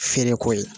Feereko ye